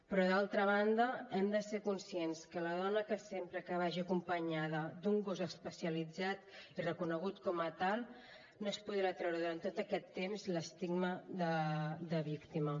però d’altra banda hem de ser conscients que la dona que sempre vagi acompanyada d’un gos especialitzat i reconegut com a tal no es podrà treure durant tot aquest temps l’estigma de víctima